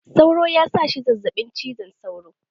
Sauro ya sa shi zazzaɓin cizon sauro.